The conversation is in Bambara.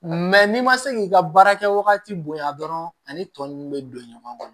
n'i ma se k'i ka baara kɛ wagati bonya dɔrɔn ani tɔn nunnu bɛ don ɲɔgɔn kɔnɔ